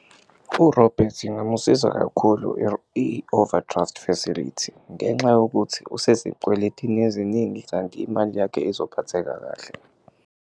URobert ingamusiza kakhulu i-overdraft facility ngenxa yokuthi usezikweletini eziningi kanti imali yakhe izophatheka kahle.